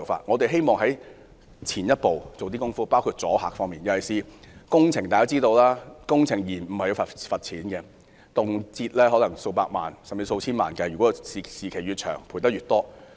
以工程延誤為例，工程界人士均知道，工程延誤要罰款，動輒數以百萬甚至千萬元計，拖延時間越長，罰款便越多。